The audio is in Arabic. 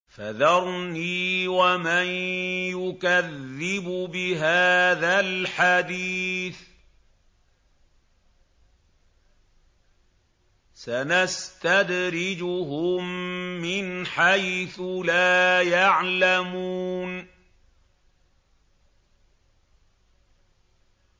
فَذَرْنِي وَمَن يُكَذِّبُ بِهَٰذَا الْحَدِيثِ ۖ سَنَسْتَدْرِجُهُم مِّنْ حَيْثُ لَا يَعْلَمُونَ